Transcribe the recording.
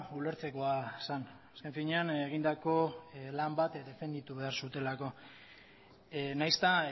ulertzekoa zen azken finean egindako lan bat defenditu egin behar zutelako nahiz eta